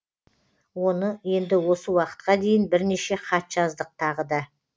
оны енді осы уақытқа дейін бірнеше хат жаздық тағы да